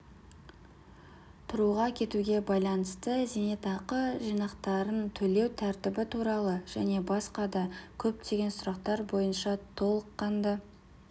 тұруға кетуге байланысты зейнетақы жинақтарын төлеу тәртібі туралы және басқа да көптеген сұрақтар бойынша толыққанды